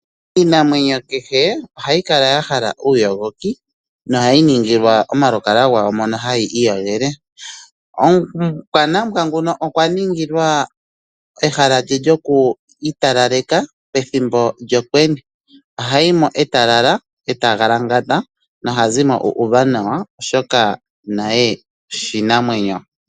Iinamwenyo kehe ohayi kala yahala uuyogoki no hayi ningilwa omalukalwa ngawo moka hayii yogele. omukwanambwa nguka okwa ningilwa ehala lye lyo kwiitalaleka pethimbo lyokwenye ohayi mo etalala tagalangata nohazi mo uuuva nawa oshoka naye oshinamwenyo.